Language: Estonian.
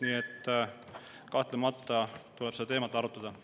Nii et kahtlemata tuleb seda teemat arutada.